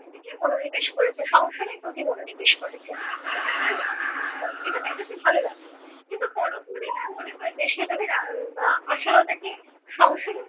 মনোনিবেশ করেছে সংসারের প্রতি মনোনিবেশ করেছে। এটা তার না থাকার ফল। এটা তার কাছে ভালো লাগলো। কিন্তু পরক্ষণেই তার মনে হয়েছে যে সে যদি আশালতাকে